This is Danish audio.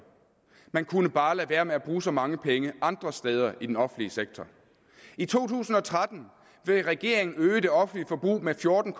man kunne bare lade være med at bruge så mange penge andre steder i den offentlige sektor i to tusind og tretten vil regeringen øge det offentlige forbrug med fjorten